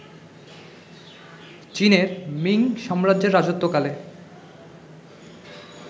চীনের মিঙ সাম্রাজ্যের রাজত্বকালে